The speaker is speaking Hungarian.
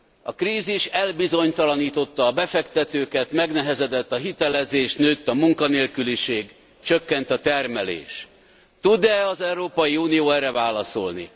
A krízis elbizonytalanította a befektetőket, megnehezedett a hitelezés, nőtt a munkanélküliség, csökkent a termelés. Tud e az Európai Unió erre válaszolni?